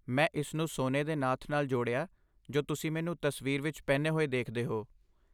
ਮੈਂ ਇਸ ਨੂੰ ਸੋਨੇ ਦੇ ਨਾਥ ਨਾਲ ਜੋੜਿਆ ਜੋ ਤੁਸੀਂ ਮੈਨੂੰ ਤਸਵੀਰ ਵਿੱਚ ਪਹਿਨੇ ਹੋਏ ਦੇਖਦੇ ਹੋ।